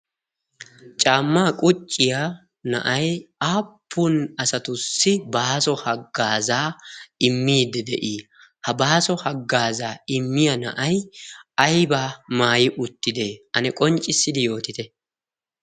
caammaa qucciya na7ai aappun asatussi baaso haggaazaa immiidde de7ii? ha baaso haggaazaa immiya na7ai aibaa maayi uttidee? ane qonccissidi yootite.